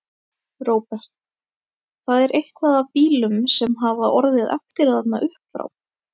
Róbert: Það er eitthvað af bílum sem hafa orðið eftir þarna uppfrá?